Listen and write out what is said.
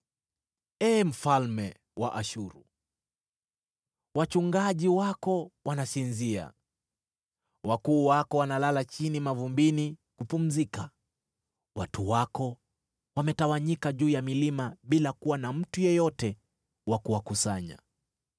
Ee mfalme wa Ashuru, wachungaji wako wanasinzia; wakuu wako wanalala chini mavumbini kupumzika. Watu wako wametawanyika juu ya milima bila kuwa na mtu yeyote wa kuwakusanya.